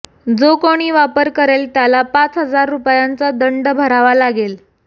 जो कोणी वापर करेल त्याला पाच हजार रुपयांचा दंड भरावा लागेल